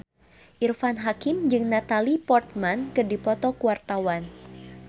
Irfan Hakim jeung Natalie Portman keur dipoto ku wartawan